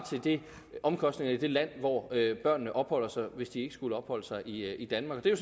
til omkostningerne i det land hvor børnene opholder sig hvis de ikke skulle opholde sig i danmark det er